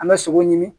An bɛ sogo ɲimi